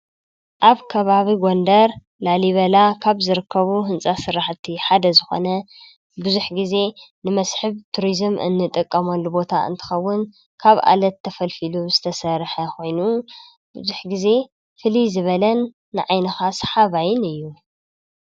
ኣብ ከባቢ ጐንደር ላሊበላ ካብ ዝርከቡ ሕንፃ ስራሕ እቲ ሓደ ዝኾነ ብዙሕ ጊዜ ንመስሕብ ቱርዝም እንጠቀመሉ ቦታ እንተኸውን ካብ ዓለት ተፈልፊሉ ዝተሰርሐ ኾይኑ ብዙሕ ጊዜ ፍሊይ ዝበለን ንዓይንኻ ሰሓባይን እዩ።